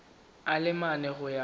a le mane go ya